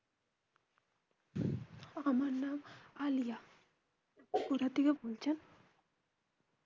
আমার নাম আলিয়া কোথা থেকে বলছেন?